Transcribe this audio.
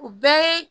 U bɛɛ ye